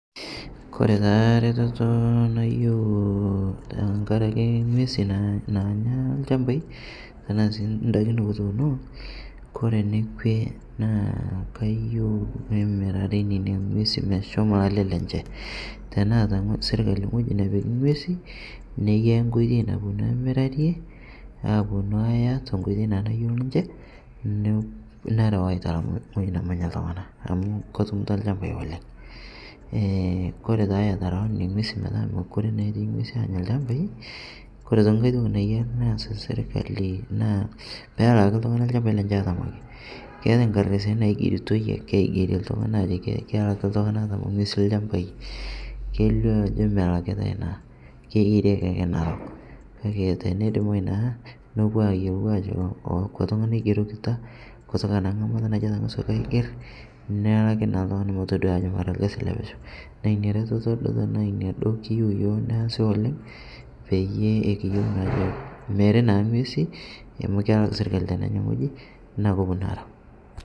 Kore taa retetoo nayeu tankarakee ng'wezii naanya lchampai tanaa sii ndakii nikituuno Kore nekwee naa, kayeu nemirarii nenia ng'wezii Meshomo lalee lenshee teneata sirkalii ng'hojii nepiki ng'wezi neyaa nkoitei naponuu amirarie aponu aiya tenkoitei nayeu ninshe narau aitalam ng'hoji namanya ltung'ana amu kotumuta champai oleng' Kore taa etarawaa nenia ng'wezii metaa mokuree naa etii ng'wezii anya lchampai Kore otoki ng'hai toki nayarii naas sirkalii naa peelaki sirkalii champai lenchee otamaa keatai nkardasini naig'eritoi akee aigerie ltung'ana Ajo kelakii ltung'ana etama ng'wezii lchampai keilio Ajo melakitai naa keigerieki akee narok teneidimai naa nopuo ayelou ajoo akwaa tung'ana eigerokita kutoka naa ng'amata natungasuaki aiger nelaki naa ltung'ana motodua ajoo mara lkazi lepesheu. Naa inia retetoo duo kiyeu yoo naasi oleng' peyie peyie amu meri naa ng'wezii amu kelak sirkalii tenenyaa ng'hojii naa koponuu arau.